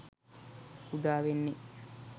උදා වෙන්නේ.